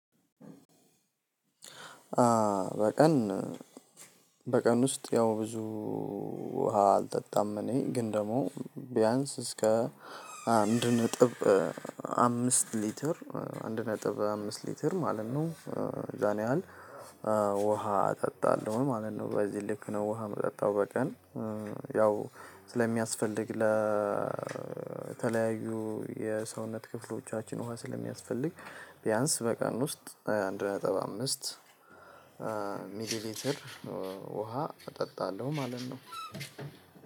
በቀን በቀን ውስጥ ያው ብዙ ውሃ አልጠጣም እኔ ግን ደግሞ ቢያንስ እስከ አንድ ነጥብ አምስት ሊትር አንድ ነጥብ አምስት ሊትር ማለት ነው ያን ያህል ውሃ እጠጣለሁ ማለት ነው። በዚህ ልክ ነው ውሃ የምጠጣው። በቀን ያው ስለሚያስፈልግ ለተለያዩ የሰውነት ክፍሎቻችን ውሃ ስለሚያስፈልግ ቢያንስ በቀን ውስጥ አንድ ነጥብ አምስት ሚሊ ሊትር ውሃ እጠጣለሁ ማለት ነው።